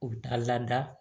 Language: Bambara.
U bɛ taa lada